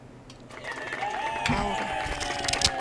аура